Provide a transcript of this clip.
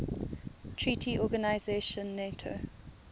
treaty organization nato